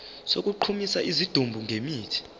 sokugqumisa isidumbu ngemithi